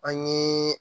An ye